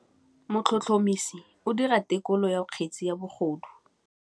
Motlhotlhomisi o dira têkolô ya kgetse ya bogodu.